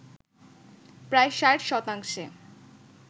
প্রায় ৬০ শতাংশে